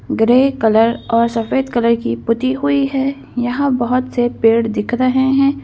Grey colour और सफेद colour की पुती हुई है यहाँ बहुत से पेड़ दिख रहे हैं।